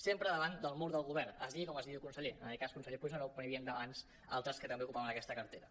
sempre davant del mur del govern es digui com es digui el conseller en aquest cas conseller puigneró però n’hi havien abans altres que també ocupaven aquesta cartera